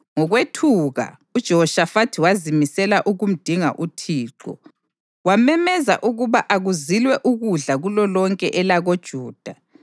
Ngokwethuka, uJehoshafathi wazimisela ukumdinga uThixo, wamemezela ukuba akuzilwe ukudla kulolonke elakoJuda.